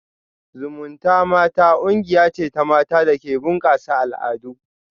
Zumunta mata kungiya ce ta mata da ke bunkasa al'adu